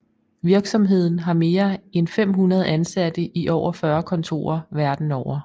Virksomheden har mere end 500 ansatte i over 40 kontorer verden over